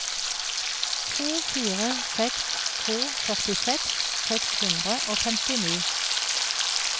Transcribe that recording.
to fire seks to førtiseks seks hundre og femtini